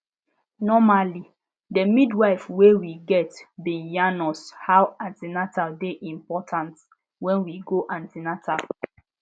normally de midwife wey we get bin yarn us how an ten al dey important when we go an ten atal